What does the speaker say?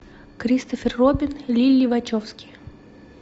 кристофер робин лилли вачовски